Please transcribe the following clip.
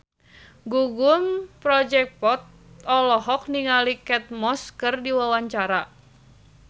Gugum Project Pop olohok ningali Kate Moss keur diwawancara